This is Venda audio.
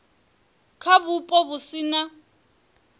kha vhupo vhu si na